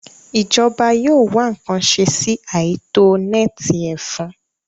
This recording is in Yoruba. Ìjọba yóò wá ǹkan ṣe sí àìtó nẹ́ẹ̀tì ẹ̀fọn